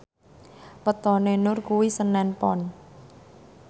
wetone Nur kuwi senen Pon